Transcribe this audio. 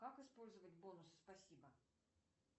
как использовать бонус спасибо